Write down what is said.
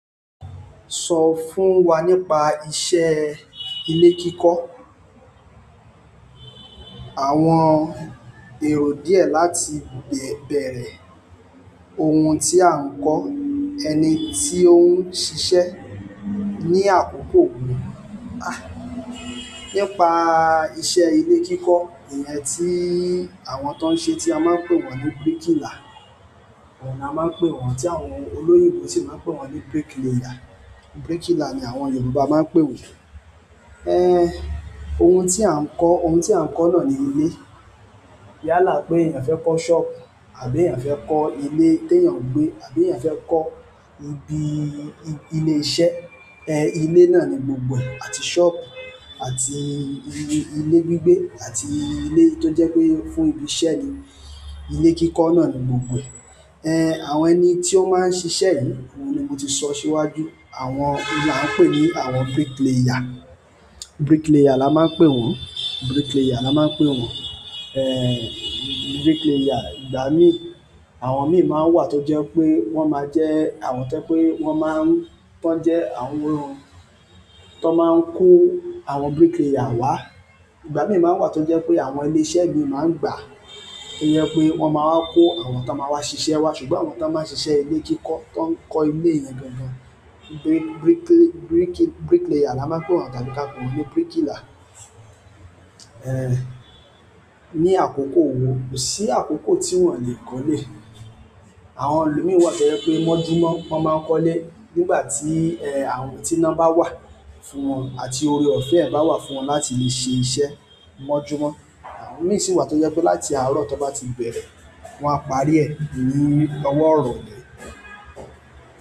Sọ fún wa nípa iṣẹ́ ilé kíkọ́. Àwọn èrò díẹ̀ láti bẹ̀rẹ̀, ohun tí à ń kọ́, ẹni tí ó ń ṣiṣẹ́ ní àkókò wo? Ah! Nípa iṣẹ́ ilé kíkọ́, ìyẹn tí àwọn tó ń ṣe tí a máa ń pè wọ́n ní bricklayer. Àwọn ni a máa ń pè wọ́n tí àwọn olóyìnbo sì máa ń pè wọ́n ní bricklayer. Bricklayer ni àwọn Yorùbá máa ń pè wọ́n. Eh! Ohun tí à ń kọ́, ohun tí à ń kọ́ náà ni ilé. Yàlà pé èèyàn fẹ́ kọ́ shop àbí èèyàn fẹ́ kọ́ ilé tí èèyàn ń gbé àbí èèyàn fẹ́ kọ́ ibi ilé iṣẹ́, eh ilé náà ni gbogbo ẹ̀. Àti shop àti ilé gbígbé àti ilé tó jẹ́ pé fún ibi iṣẹ́ ni. Ilé kíkọ́ náà ni gbogbo ẹ̀. Eh! Àwọn ẹni tí ó máa ń ṣiṣẹ́ yìí, òun ni mo ti sọ síwájú. Àwọn ni a ń pè ní àwọn bricklayer. Bricklayer la máa ń pè wọ́n. Bricklayer la máa ń pè wọ́n. Eh! Bricklayer ìgbà mí, àwọn mìíràn máa ń wà tó jẹ́ pé wọ́n máa jẹ́ àwọn tó pé wọ́n má ń, tó jẹ́ àwọn tó máa ń kó àwọn bricklayer wá. Ìgbà mìíràn máa ń wà tó jẹ́ pé àwọn ilé iṣẹ́ mìíràn máa ń gbà. Ìyẹn pé wọ́n máa ń kó àwọn tó máa wá ṣiṣẹ́ wá. Ṣùgbọ́n àwọn tó máa ń ṣiṣẹ́ ilé kíkọ́ tó ń kọ́ ilé ìyẹn gangàn, brick, brick, bricklayer la máa ń pè wọ́n tàbí ká pè wọ́n ní bricklayer. Eh! Ni àkókò wo? Kò sí àkókò tí wọ́n o le kọ́lé. Àwọn elo mi wà tó jẹ́ pé mọ́júmọ́ wọ́n máa ń kọ́lé nígbà tí eh àwọn, tí ina ba wà fún wọn àti oore-ọ̀fẹ́ ẹ̀ bá wà fún wọn láti le ṣe iṣẹ́ mọ́júmọ́. Àwọn mìíràn sì wà tó jẹ́ pé láti àárọ̀ tó bá ti bẹ̀rẹ̀, wọ́n á parí ẹ̀ nínú ọwọ́ irọ̀ le.